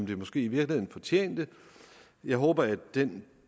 det måske i virkeligheden fortjente jeg håber at den